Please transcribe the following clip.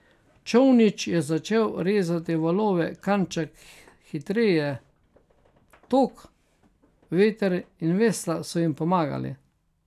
Čolnič je začel rezati valove kanček hitreje, tok, veter in vesla so jim pomagali.